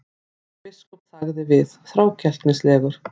Jón biskup þagði við, þrákelknislegur.